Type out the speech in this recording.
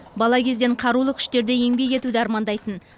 бала кезден қарулы күштерде еңбек етуді армандайтын